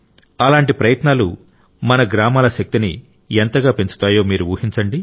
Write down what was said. అలాంటి ప్రయత్నాలు మన గ్రామాల శక్తిని ఎంతగా పెంచుతాయో మీరు ఊహించండి